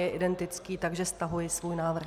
Je identický, takže stahuji svůj návrh.